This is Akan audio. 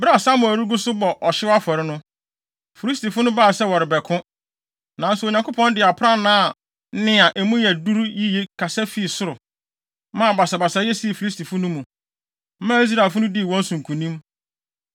Bere a Samuel gu so rebɔ ɔhyew afɔre no, Filistifo no baa sɛ wɔrebɛko. Nanso Onyankopɔn de aprannaa nne a emu yɛ duru yiye kasa fi soro, maa basabasayɛ sii Filistifo no mu, maa Israelfo no dii wɔn so nkonim.